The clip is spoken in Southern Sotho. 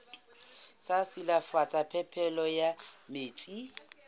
sa silafatsa phepelo ya metsi